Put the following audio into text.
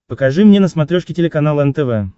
покажи мне на смотрешке телеканал нтв